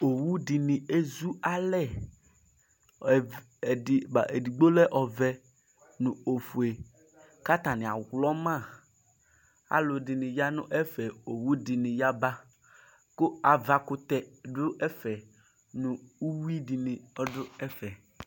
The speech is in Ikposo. Owu dini ezu alɛɛdigba, edigbo lɛ ɔvɛ, nu ofueku atani aɣlɔmaalu ɛdini yanu ɛfɛ owu dini yabaku avakutɛ dʋ ɛfɛnu uwui dini du ɛfɛ